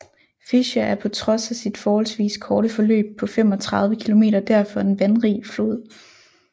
Fischa er på trods af sit forholdsvis korte forløb på 35 km derfor en vandrig flod